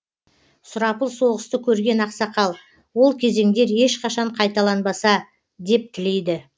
сұрапыл соғысты көрген ақсақал ол кезеңдер ешқашан қайталанбаса деп тілейді